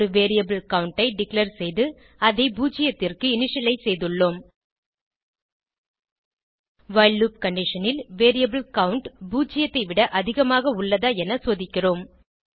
ஒரு variable count ஐ declare செய்து அதை பூஜ்ஜியத்திற்கு இனிஷியலைஸ் செய்துள்ளோம் வைல் லூப் கண்டிஷன் ல் வேரியபிள் கவுண்ட் பூஜ்ஜியத்தைவிட அதிகமாக உள்ளதா என சோதிக்கிறோம்